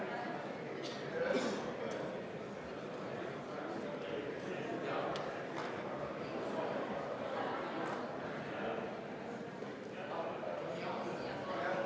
Austatud Riigikogu, vaheaeg on lõppenud.